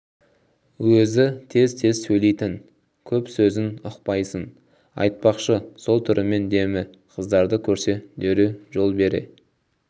өзі тез-тез сөйлейтін көп сөзін ұқпайсың айтпақшы сол түрімен демі қыздарды көрсе дереу жол бере